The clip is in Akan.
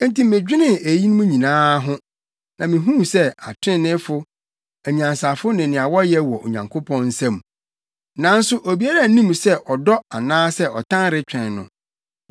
Enti medwenee eyinom nyinaa ho na mihuu sɛ atreneefo, anyansafo ne nea wɔyɛ wɔ Onyankopɔn nsam; nanso obiara nnim sɛ ɔdɔ anaasɛ ɔtan retwɛn no.